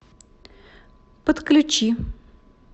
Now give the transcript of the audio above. подключи